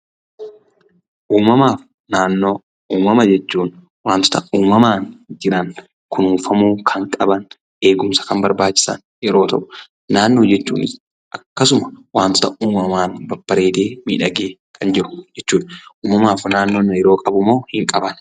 Uumamaaf naannoo. Uumama jechuun wantoota uumamaan jiran ,kunuunfamuu kan qaban, eegumsa kan barbaachisan yeroo ta'u, naannoo jechuunis akkasuma wantota uumamaan babbareedee, miidhagee kan jiru jechuudha. Uumamaaf naannoon hariiroo qabumoo hin qabani?